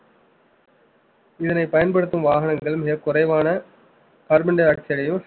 இதனை பயன்படுத்தும் வாகனங்கள் மிகக் குறைவான carbon dioxide ஐயும்